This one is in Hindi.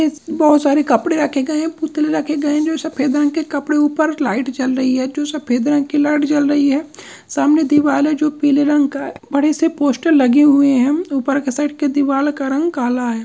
इस बहोत सारे कपड़े रखे गए हैं पुतले रखे गए हैं जो सफेद रंग के कपड़े ऊपर लाइट जल रही है जो सफेद रंग की लाइट जल रही है। सामने दीवाल है जो पीले रंग का बड़े से पोस्टर लगे हुए हैं ऊपर के साइड का दीवाल का रंग काला है।